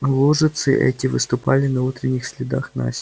лужицы эти выступили на утренних следах насти